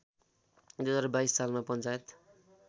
२०२२ सालमा पञ्चायत